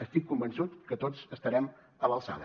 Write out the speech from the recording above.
estic convençut que tots estarem a l’alçada